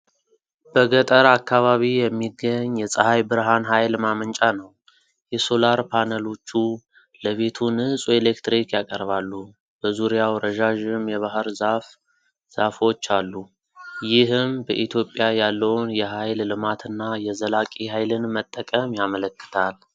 በገጠር አካባቢ የሚገኝ የፀሐይ ብርሃን ኃይል ማመንጫ ነው። የሶላር ፓነሎቹ ለቤቱ ንጹህ ኤሌክትሪክ ያቀርባሉ። በዙሪያው ረዣዥም የባህር ዛፍ ዛፎች አሉ። ይህም በኢትዮጵያ ያለውን የኃይል ልማትና የዘላቂ ኃይልን መጠቀም ያመለክታል።